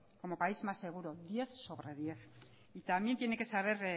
como país más seguro diez sobre diez y también tiene que saber